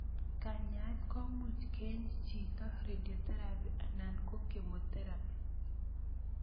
Kanyaet komuch keeny chito, radio therapy anan chemotherapy